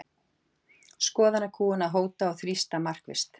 Skoðanakúgun að hóta og þrýsta markvisst